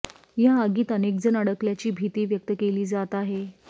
या आगीत अनेकजण अडकल्याची भीती व्यक्त केली जात आहे